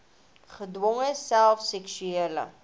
gedwonge self seksuele